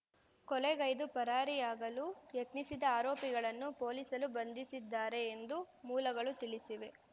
ಕೊಲೆಗೈದು ಪರಾರಿಯಾಗಲು ಯತ್ನಿಸಿದ ಆರೋಪಿಗಳನ್ನು ಪೊಲೀಸರು ಬಂಧಿಸಿದ್ದಾರೆ ಎಂದು ಮೂಲಗಳು ತಿಳಿಸಿವೆ